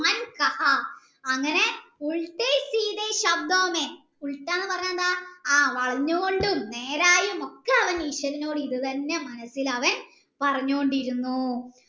അങ്ങനെ എന്ന് പറഞ്ഞാൽ എന്താ ആ വളഞ്ഞു കൊണ്ടും നേരായും ഒക്കെ അവൻ ഈശ്വരനോട് ഇത് തന്നെ അവൻ മനസ്സിൽ പറഞ്ഞോണ്ടിരുന്നു